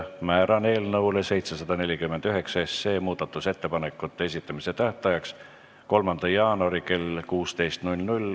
Määran eelnõu 749 muudatusettepanekute esitamise tähtajaks 3. jaanuari kell 16.